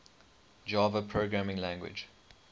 java programming language